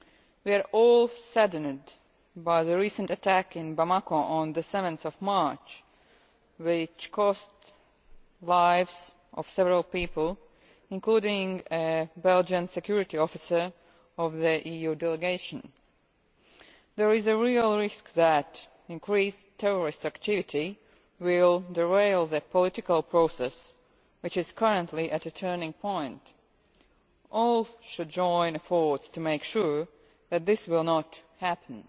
We are all saddened by the recent attack in Bamako on 7 March which cost the lives of several people, including a Belgian security officer in the EU Delegation. There is a real risk that increased terrorist activity will derail the political process which is currently at a turning point. All should join efforts to make sure that this will not happen.